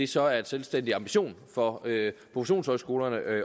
så er en selvstændig ambition for professionshøjskolerne at